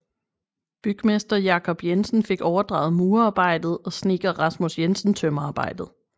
Bygmester Jakob Jensen fik overdraget murearbejdet og snedker Rasmus Jensen tømmerarbejdet